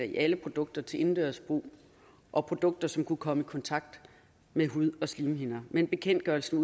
i alle produkter til indendørs brug og produkter som kunne komme i kontakt med hud og slimhinder men bekendtgørelsen